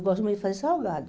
Eu gosto muito de fazer salgado.